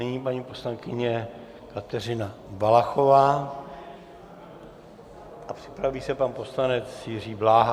Nyní paní poslankyně Kateřina Valachová a připraví se pan poslanec Jiří Bláha.